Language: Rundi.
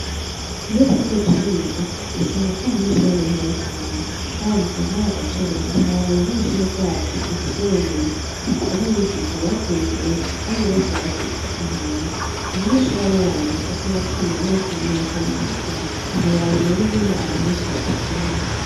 Iyo turiko turiga usanga ata munyeshure numwe ari hanze kandi usanga hari agacerere kandi ntiworaba ingene ishure ryacu rifise ubumenyi dufise n' abigisha bateye imbere kandi bose bagiye kwiga hanze umunyeshure aba uwanyuma usanga afise amanota mirongo itanu kwi jana ntiworaba rero ingene abantu benshi badukunda.